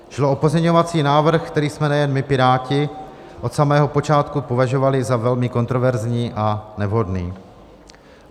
Šlo o pozměňovací návrh, který jsme nejen my Piráti od samého počátku považovali za velmi kontroverzní a nevhodný.